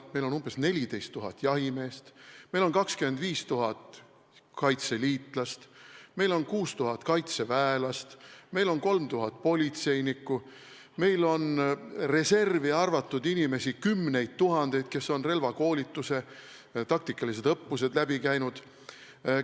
Meil on umbes 14 000 jahimeest, meil on 25 000 kaitseliitlast, meil on 6000 kaitseväelast, meil on 3000 politseinikku, meil on reservi arvatud inimesi kümneid tuhandeid, kes on relvakoolituse taktikalised õppused läbi teinud.